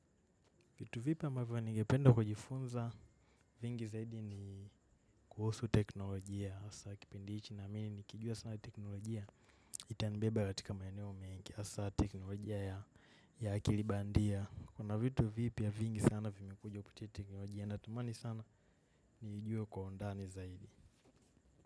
Vitu vipi ambavyo nigependa kujifunza vingi zaidi ni kuhusu teknolojia hasa kipendi hichi naamini nikijua sina teknolojia itanibeba katika maeneo mingi hasa teknolojia ya akili bandia. Kuna vipya vingi sana vimekujua kutite teknolojia natumani sana niijue kwa undani zaidi.